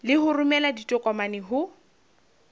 le ho romela ditokomane ho